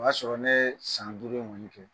O y'a sɔrɔ ne yee san duuru in ŋɔni kɛ.